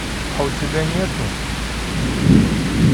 а у тебя нету